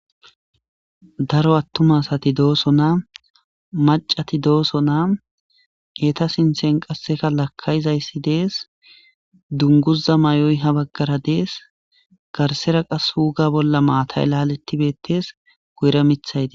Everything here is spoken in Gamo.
Daro attuma sati dooso naa macati dooso naa eta sinthen qasseka lakkayizayssi dees dunguza may'oy ha baggara dees garsera qashuga bolla maatay laalettibettees goyra mithayti.